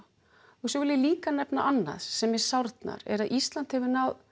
á svo vil ég líka nefna annað sem mér sárnar er að Ísland hefur náð